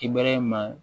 Kibɛrɛ in ma